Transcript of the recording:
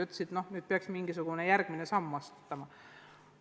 Öeldi, et peaks ikkagi mingisugune järgmine samm astutama.